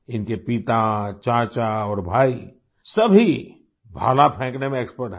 इनके पिता चाचा और भाई सभी भाला फेंकने में एक्सपर्ट हैं